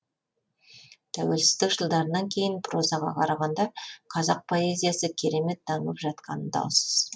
тәуелсіздік жылдарынан кейін прозаға қарағанда қазақ поэзиясы керемет дамып жатқаны даусыз